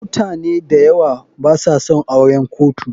mutane dayawa basa son auren kotu.